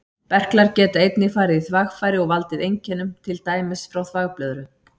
Berklar geta einnig farið í þvagfæri og valdið einkennum, til dæmis frá þvagblöðru.